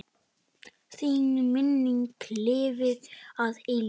Þín minning lifir að eilífu.